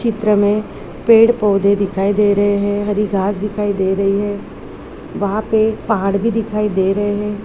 चित्र मे पेड़ पौधे दिखाई दे रहे है हरी घास दिखाई दे रही है वहा पे पहाड़ भी दिखाई दे रहे है।